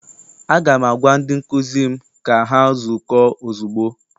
Aga m agwa ndị nkụzi m ka ha zukọọ ozugbo!